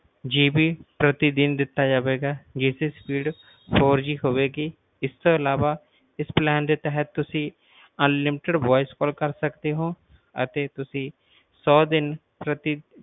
GB ਪ੍ਰਤੀ ਦਿਨ ਦਿੱਤਾ ਜਾਵੇਗਾ ਜਿਸ ਦੀ speedfourG ਹੋਵੇਗੀ ਇਸ ਤੋਂ ਅਲਾਵਾ ਤੁਸੀਂ unlimitedvoicecalls ਇਸ ਦੇ ਤਹਿਤ ਕਰ ਸਕਦੇ ਹੋ ਅਤੇ ਤੁਸੀਂ ਸੌ ਦਿਨ ਪ੍ਰਤੀ